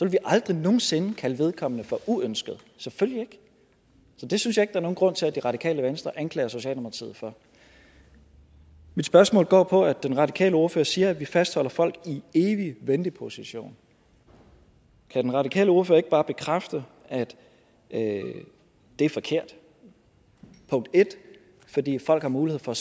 vi aldrig nogen sinde kalde vedkommende for uønsket selvfølgelig ikke så det synes jeg ikke der er nogen grund til at det radikale venstre anklager socialdemokratiet for mit spørgsmål går på at den radikale ordfører siger at vi fastholder folk i en evig venteposition kan den radikale ordfører ikke bare bekræfte at det er forkert 1 fordi folk har mulighed for